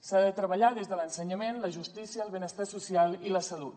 s’ha de treballar des de l’ensenyament la justícia el benestar social i la salut